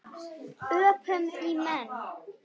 Öpum í menn.